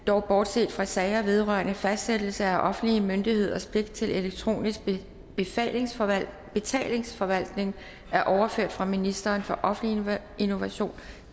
dog bortset fra sager vedrørende fastlæggelse af offentlige myndigheders pligt til elektronisk betalingsforvaltning betalingsforvaltning overføres fra ministeren for offentlig innovation